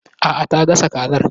Aa, ta gasa kazar